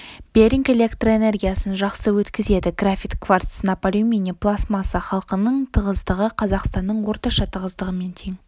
беринг электр энергиясын жақсы өткізеді графит кварц сынап алюминий пластмасса халқының тығыздығы қазақстанның орташа тығыздығымен тең